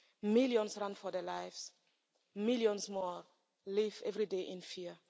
Millions run for their lives. Millions more live every day in fear.